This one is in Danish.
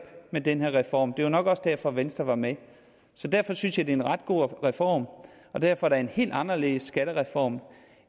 med den her reform det var nok også derfor venstre var med så derfor synes jeg det er en ret god reform og derfor er det en helt anderledes skattereform